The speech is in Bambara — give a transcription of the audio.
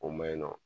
O ma ɲi nɔ